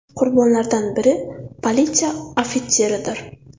Qurbonlardan biri politsiya ofitseridir.